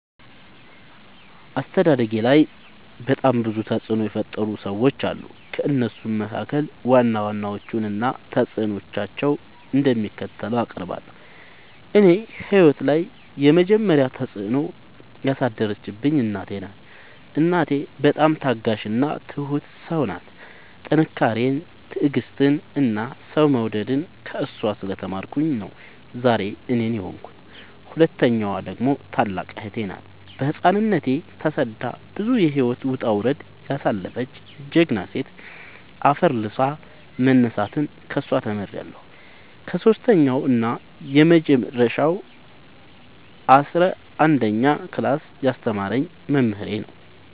አስተዳደጌላይ በጣም ብዙ ተፅዕኖ የፈጠሩ ሰዎች አሉ። ከእነሱም መካከል ዋና ዋናዎቹን እና ተፅዕኖቸው እንደሚከተለው አቀርባለሁ። እኔ ህይወት ላይ የመጀመሪ ተፅዕኖ ያሳደረችብኝ እናቴ ናት። እናቴ በጣም ታጋሽ እና ትሁት ሰው ናት ጥንካሬን ትዕግስትን እና ሰው መውደድን ከእሷ ስለ ተማርኩኝ ነው ዛሬ እኔን የሆንኩት። ሁለተኛዋ ደግሞ ታላቅ እህቴ ናት ገና በህፃንነቶ ተሰዳ ብዙ የህይወት ወጣውረድ ያሳለፈች ጀግና ሴት አፈር ልሶ መነሳትን ከሷ ተምሬለሁ። ሰሶስተኛው እና የመጀረሻው አስረአንደኛ ክላስ ያስተማረኝ መምህሬ ነው።